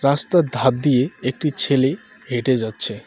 রাস্তার ধার দিয়ে একটি ছেলে হেঁটে যাচ্ছে।